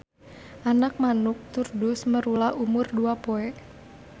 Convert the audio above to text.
Anak manuk Turdus merula umur dua poe.